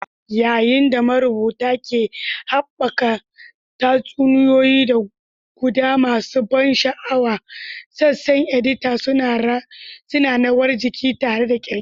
Yayin da marubuta ke haɓaka tatsuniyoyi da guda masu ban sha'awa, sassan edita suna rawar jiki tare da ƙirƙira.